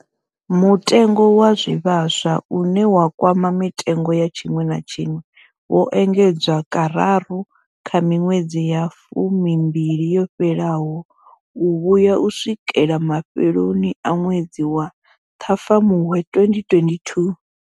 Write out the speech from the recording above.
Mutengo wa zwivhaswa, une wa kwama mitengo ya tshiṅwe na tshiṅwe, wo engedzwa kararu kha miṅwedzi ya fumimbili yo fhelaho u vhuya u swikela mafheloni a ṅwedzi wa Ṱhafamuhwe 2022.